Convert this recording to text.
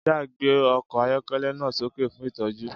Jack gbé ọkọ̀ ayọ́kẹ́lẹ́ náà sókè fún ìtọ́jú.